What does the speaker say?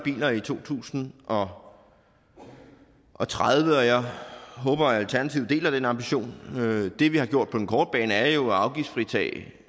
biler i to tusind og og tredive og jeg håber at alternativet deler den ambition det vi har gjort på den korte bane er jo at afgiftsfritage